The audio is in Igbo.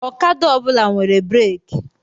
Okada ọ bụla nwere breeki.